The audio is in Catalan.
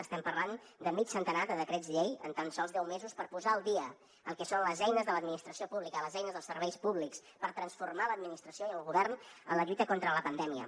estem parlant de mig centenar de decrets llei en tan sols deu mesos per posar al dia el que són les eines de l’administració pública les eines dels serveis públics per transformar l’administració i el govern en la lluita contra la pandèmia